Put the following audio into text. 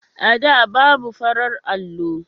A da, babu farar allo.